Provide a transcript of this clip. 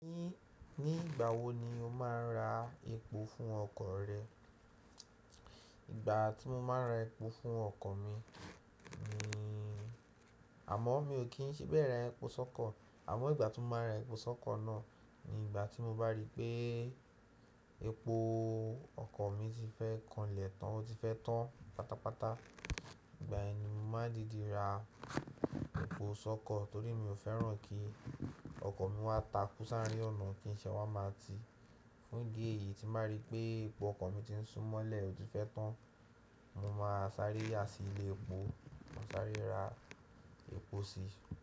Ní, ní ìgbà wo ni o máa ń ra epo fún ọkọ̀ rẹ? Ìgbà tí mo máa ń ra epo fún ọkọ̀ mi ni, àmọ́ mi ò kí n síbẹ̀ ra epo sọ́kọ̀. Àmọ́ ìgbà tí mo máa ra epo sọ́kọ̀ náà ni ìgbà tí mo bá rí pé epo ọkọ̀ mi ti fẹ́ kanlẹ̀ tán, ó ti fẹ́ tán pátápátá. Ìgbà yẹn ni mo máa dìdi ra epo sọ́kọ̀ torí mi ò fẹ́ràn kí ọkọ̀ mi wá takú sáré ọ̀nà kí n ṣe wá máa ti. Fún ìdí èyí tí máa rí pé epo ọkọ̀ mi ti ń súmọ́lẹ̀, ó ti fẹ́ tán, mo máa sáré á sí ilé epo, ma sáré ra epo sí.